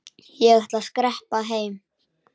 Ég ætla að skreppa heim.